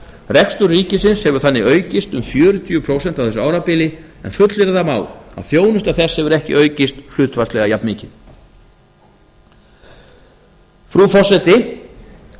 rekstur ríkisins hefur þannig aukist um fjörutíu prósent á þessu árabili en fullyrða má að þjónusta þess hefur ekki aukist hlutfallslega jafnmikið frú forseti